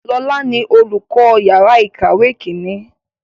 Lọ́la ni olùkọ́ yàrá ìkàwé Kínní